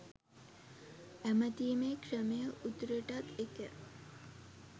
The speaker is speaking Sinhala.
ඇමතීමේ ක්‍රමය උතුරටත් එකය.